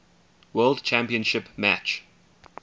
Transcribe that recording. world championship match